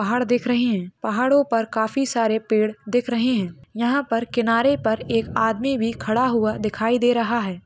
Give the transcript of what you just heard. पहाड़ दिख रहे है पहाड़ों पर काफी सारे पेड़ दिख रहे है यहाँ पर किनारे पर एक आदमी भी खड़ा हुआ दिखाई दे रहा है।